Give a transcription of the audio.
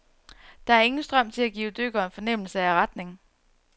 Der er ingen strøm til at give dykkeren fornemmelse af retning.